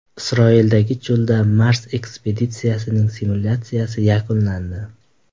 Isroildagi cho‘lda Mars ekspeditsiyasining simulyatsiyasi yakunlandi.